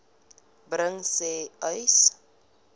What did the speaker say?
bring sê uys